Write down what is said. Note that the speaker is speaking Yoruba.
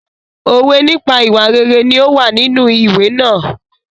Òwe nípa ìwà rere ní ó wà nínú ìwé náà.